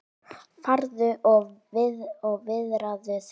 Farðu og viðraðu þig,